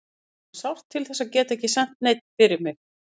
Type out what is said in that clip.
Ég fann sárt til þess að geta ekki sent neinn fyrir mig.